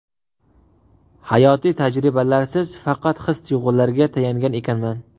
Hayotiy tajribalarsiz, faqat his-tuyg‘ularga tayangan ekanman.